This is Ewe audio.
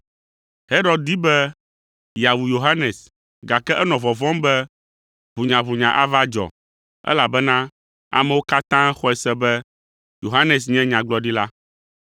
Herod di be yeawu Yohanes, gake enɔ vɔvɔ̃m be ʋunyaʋunya ava dzɔ, elabena amewo katã xɔe se be Yohanes nye nyagblɔɖila.